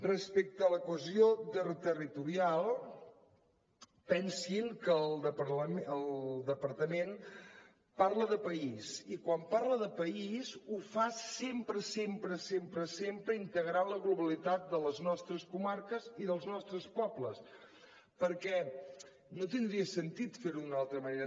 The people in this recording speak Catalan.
respecte a la cohesió territorial pensin que el departament parla de país i quan parla de país ho fa sempre sempre sempre integrant la globalitat de les nostres comarques i dels nostres pobles perquè no tindria sentit fer ho d’una altra manera